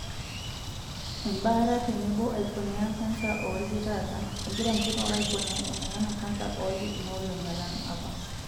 Embaata tenebo aiponea kansa oolki taata, egira nkituak aiponea emoyian e kansa oolki kuna olong'I alang' apa.